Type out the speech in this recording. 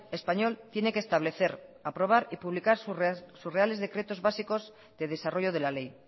español tiene que establecer aprobar y publicar sus reales decretos básicos de desarrollo de la ley